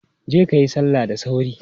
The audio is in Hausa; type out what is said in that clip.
Je kayi salla da sauri!